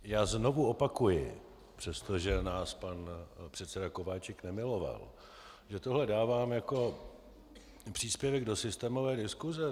Já znovu opakuji, přestože nás pan předseda Kováčik nemiloval, že tohle dávám jako příspěvek do systémové diskuse.